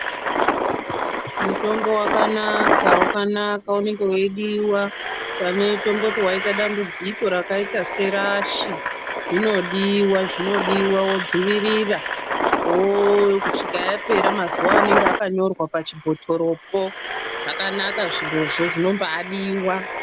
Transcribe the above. Mutombo wakanaka wakanaka unenge weidiwa. Tomboti waita dambudziko rakaita serashi inodiwa zvinodiwa wodzivirira kusvika yapera mazuva anenge akanyorwa pachibhotoropo. Zvakanaka zvirozvo. Zvinombaadiwa.